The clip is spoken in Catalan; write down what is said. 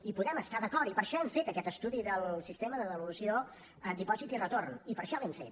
hi podem estar d’acord i per això hem fet aquest estudi del sistema de devolució dipòsit i retorn i per això l’hem fet